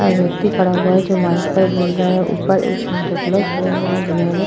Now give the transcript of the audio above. एक व्यक्ति खड़ा हुआ है जो माइक में बोल रहा है। ऊपर एक सांता क्लॉस खड़ा हुआ है। जिन्होंने --